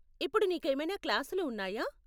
ఇప్పుడు నీకేమైనా క్లాసులు ఉన్నాయా?